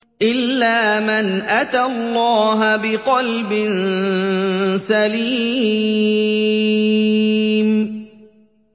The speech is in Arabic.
إِلَّا مَنْ أَتَى اللَّهَ بِقَلْبٍ سَلِيمٍ